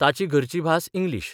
ताची घरची भास इंग्लीश.